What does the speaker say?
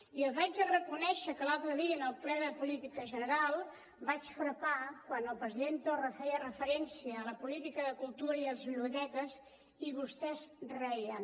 i els haig de reconèixer que l’altre dia en el ple de política general vaig frapar quan el president torra feia referència a la política de cultura i a les biblioteques i vostès reien